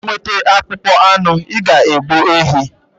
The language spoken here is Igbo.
Iji nweta akpụkpọ anụ, ị ga-egbu ehi